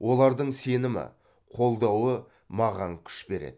олардың сенімі қолдауы маған күш береді